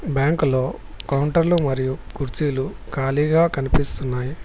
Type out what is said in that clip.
బ్యాంకులో కౌంటర్లు మరియు కుర్చీలు ఖాళీగా కనిపిస్తున్నాయి